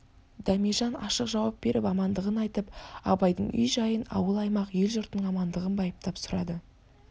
дәмежан ашық жауап беріп амандығын айтып абайдың үй-жайын ауыл-аймақ ел-жұртының амандығын байыптап сұрады